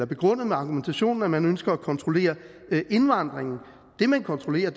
begrundet med argumentationen om at man ønsker at kontrollere indvandringen det man kontrollerer